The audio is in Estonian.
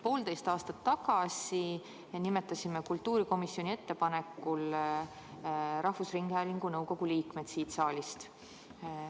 Poolteist aastat tagasi nimetasime kultuurikomisjoni ettepanekul rahvusringhäälingu nõukogu liikmed siit saalist.